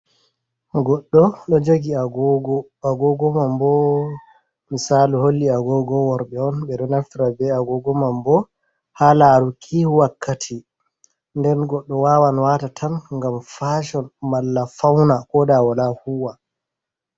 Goɗɗo ɗo jogi agogo, agogo mam bo misalu holli agogo worɓɓe on, ɓe ɗo naftira be agogo mam bo ha laruki wakkati, nden goɗɗo wawan wata tan ngam fashon, malla fauna, ko da wala huwa.